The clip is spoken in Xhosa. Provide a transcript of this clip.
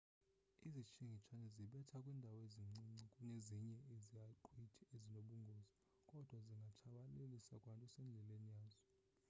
izitshingitshane zibetha kwindawo encinci kunezinye izaqhwithi ezinobungozi kodwa zingatshabalalisa kwanto esendleleni yazo